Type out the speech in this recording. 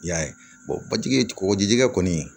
I y'a ye batigi kɔɔgɔjikɛ kɔni